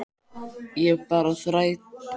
Ég skal bara þræta fyrir það, hugsaði Lóa Lóa.